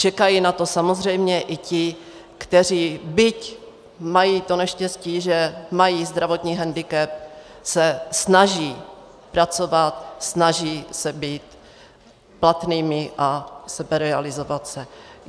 Čekají na to samozřejmě i ti, kteří, byť mají to neštěstí, že mají zdravotní hendikep, se snaží pracovat, snaží se být platnými a seberealizovat se.